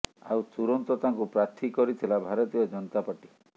ଆଉ ତୁରନ୍ତ ତାଙ୍କୁ ପ୍ରାର୍ଥୀ କରିଥିଲା ଭାରତୀୟ ଜନତା ପାର୍ଟି